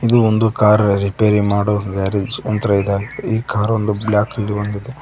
ಇದು ಒಂದು ಕಾರ್ ರಿಪೇರಿ ಮಾಡುವ ಗ್ಯಾರೇಜ್ ಯಂತ್ರ ಇದೆ ಈ ಕಾರ್ ಬ್ಲ್ಯಾಕ್ ನಿಂತುಕೊಂಡಿದೆ.